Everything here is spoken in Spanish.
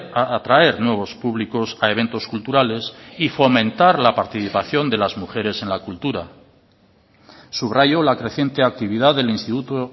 atraer nuevos públicos a eventos culturales y fomentar la participación de las mujeres en la cultura subrayo la creciente actividad del instituto